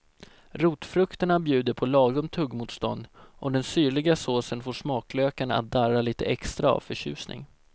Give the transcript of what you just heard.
Rotfrukterna bjuder på lagom tuggmotstånd och den syrliga såsen får smaklökarna att darra lite extra av förtjusning.